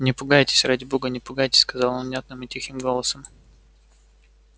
не пугайтесь ради бога не пугайтесь сказал он внятным и тихим голосом